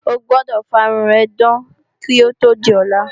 O gbọdọ̀ fá irun rẹ dán kó tó di ọ̀la!